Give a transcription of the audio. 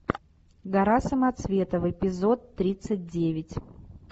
гора самоцветов эпизод тридцать девять